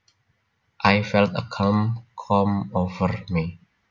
I felt a calm come over me